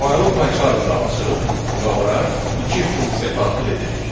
Faylı Pycharmda açırıq və ora iki funksiya daxil edirik.